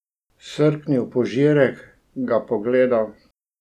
Srknil požirek, ga pogledal.